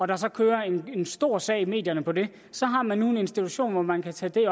der så kører en stor sag i medierne på det så har man nu en institution hvor man kan tage det